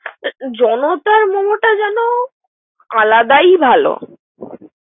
জলতার মোমোটা যেন আলাদায় ভালো।